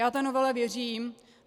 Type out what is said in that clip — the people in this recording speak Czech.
Já té novele věřím.